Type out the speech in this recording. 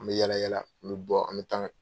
An bɛ yala yala an bɛ bɔ an bɛ taa an ka